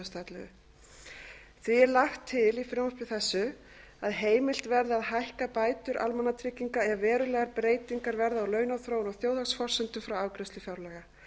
því er lagt til í frumvarpi þessu að heimilt verði að hækka bætur almannatrygginga ef verulegar breytingar verða á launaþróun og þjóðhagsforsendum frá afgreiðslu fjárlaga